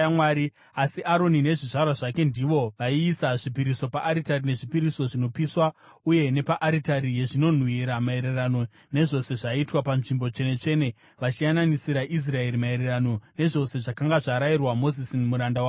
Asi Aroni nezvizvarwa zvake ndivo vaiisa zvipiriso paaritari yezvipiriso zvinopiswa uye nepaaritari yezvinonhuhwira maererano nezvose zvaiitwa paNzvimbo Tsvene-tsvene, vachiyananisira Israeri maererano nezvose zvakanga zvarayirwa Mozisi muranda waMwari.